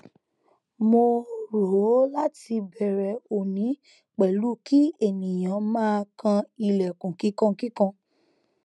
mo o ro lati bẹrẹ oni pẹlu ki eniyan maa kan ilẹkun kikankikan